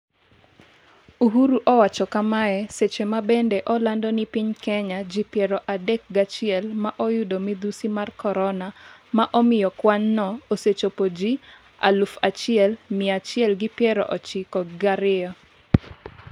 Uhuru owacho kamae seche mabende olando ni piny Kenya ji piero adek gi chiel ​​ma oyudo midhusi mar corona ma omiyo kwanno osechopo 1192ji aluf achiel miya achiel gi piero chiko gi ariyo.